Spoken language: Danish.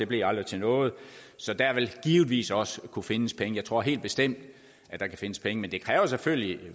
blev aldrig til noget så der vil givetvis også kunne findes penge jeg tror helt bestemt at der kan findes penge men det kræver selvfølgelig